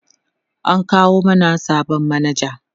an kawo mana sabon manaja